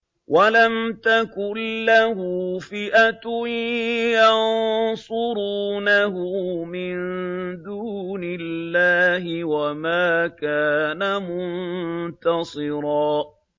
وَلَمْ تَكُن لَّهُ فِئَةٌ يَنصُرُونَهُ مِن دُونِ اللَّهِ وَمَا كَانَ مُنتَصِرًا